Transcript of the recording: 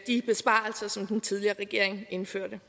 de besparelser som den tidligere regering indførte